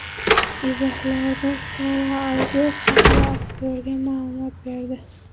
Izohlarda Sara Albert haqida aktyorga ma’lumot berdi.